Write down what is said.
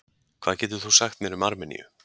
Hvað getur þú sagt mér um Armeníu?